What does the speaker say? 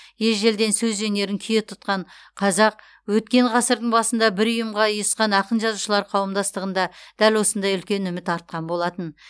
ежелден сөз өнерін кие тұтқан қазақ өткен ғасырдың басында бір ұйымға ұйысқан ақын жазушылар қауымдастығында дәл осындай үлкен үміт артқан болатын